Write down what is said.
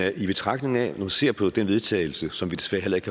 man ser på det vedtagelse som vi desværre ikke